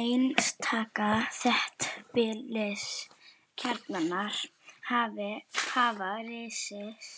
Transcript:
Einstaka þéttbýliskjarnar hafa risið